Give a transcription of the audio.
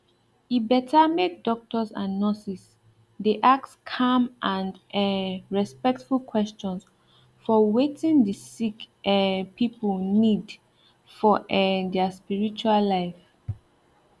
e better make doctors and nurses dey ask calm and um respectful questions for wetin the sick um people need for um their spiritual life